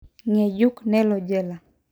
Ngejuknelo jela.''